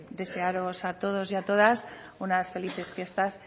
desearos a todos y a todas unas felices fiestas